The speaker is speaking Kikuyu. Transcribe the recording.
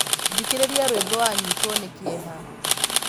Thikīrīria rwīmbo wanyitwo nī kīeha.